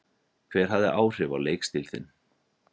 Hver hafði áhrif á leikstíl þinn?